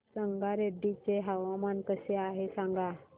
संगारेड्डी चे हवामान कसे आहे सांगा